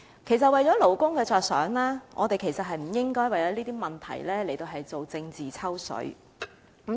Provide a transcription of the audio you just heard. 其實，為了勞工着想，我們其實不應該為了這些問題而進行政治"抽水"。